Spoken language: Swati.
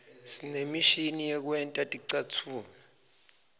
sinemishini yekwenta ticatfulo